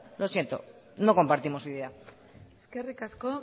lo siento no compartimos su idea eskerrik asko